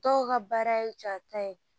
Dɔw ka baara ye jata ye